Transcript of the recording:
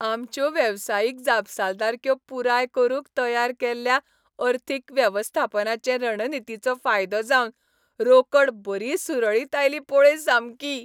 आमच्यो वेवसायीक जापसालदारक्यो पुराय करूंक तयार केल्ल्या अर्थीक वेवस्थापनाचे रणनितींचो फायदो जावन रोकड बरी सुरळीत आयली पळय सामकी.